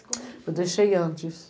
como é que. Eu deixei antes.